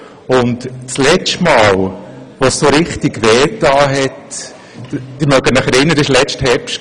Das letzte Mal, dass es so richtig wehtat, war im letzten Herbst;